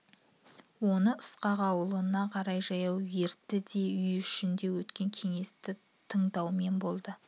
оны ысқақ ауылына қарай жаяу ертті де үй ішінде өткен кеңесті тыңдаумен болды